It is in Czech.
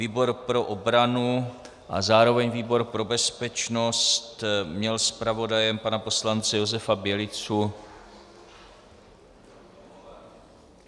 Výbor pro obranu a zároveň výbor pro bezpečnost měl zpravodajem pana poslance Josefa Bělicu...